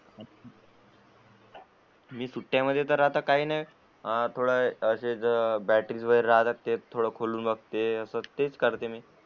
मी सुट्ट्या मध्ये काही नाही थोडा बॅटरी वैगरे राहते तेच खोलून बघते.